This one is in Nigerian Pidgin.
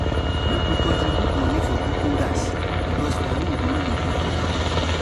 Make we contribute money for cooking gas, because firewood no go quick cook am.